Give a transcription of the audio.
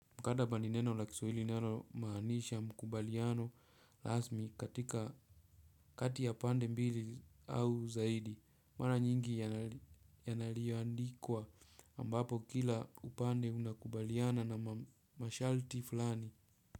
Mkataba ni neno la kiswahili linalo maanisha makubaliano rasmi katika kati ya pande mbili au zaidi. Mara nyingi yanaliyoandikwa ambapo kila upande unakubaliana na masharti fulani.